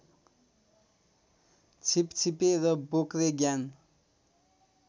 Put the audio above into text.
छिपछिपे र बोक्रे ज्ञान